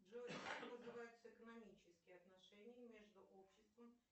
джой как называются экономические отношения между обществом